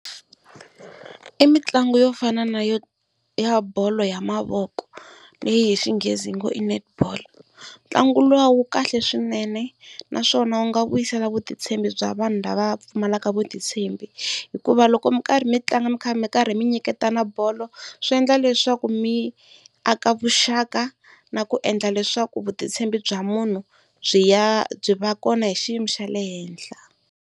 I mitlangu yo fana na ya bolo ya mavoko leyi hi Xinghezi hi ngo i Netball. Ntlangu luwa wu kahle swinene naswona u nga vuyisela vutitshembi bya vanhu lava pfumalaka vutitshembi, hikuva loko mi karhi mi tlanga mi kha mi karhi mi nyiketa na bolo swi endla leswaku mi aka vuxaka na ku endla leswaku vutitshembi bya munhu byi ya byi va kona hi xiyimo xa le henhla.